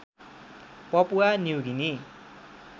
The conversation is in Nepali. Papua New Guinea